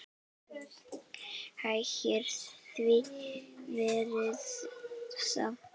Hækkar verðið þá?